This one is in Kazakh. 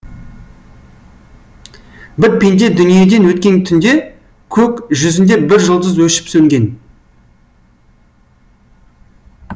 бір пенде дүниеден өткен түнде көк жүзінде бір жұлдыз өшіп сөнген